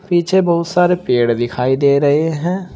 पीछे बहुत सारे पेड़ दिखाई दे रहे हैं।